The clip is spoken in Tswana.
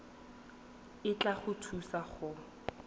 e tla go thusa go